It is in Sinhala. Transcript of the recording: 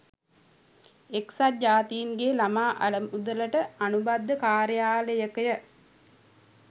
එක්සත් ජාතින්ගේ ළමා අරමුදලට අනුබද්ධ කාර්යාලයකය.